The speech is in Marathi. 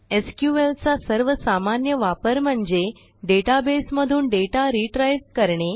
SQLचा सर्वसामान्य वापर म्हणजे डेटाबेसमधून डेटा retrieveकरणे